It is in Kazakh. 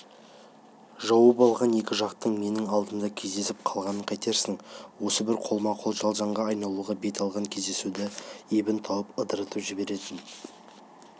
жауығып алған екі жақтың менің алдымда кездесіп қалғанын қайтерсің осы бір қолма-қол жанжалға айналуға бет алған кездесуді ебін тауып ыдыратып жіберетін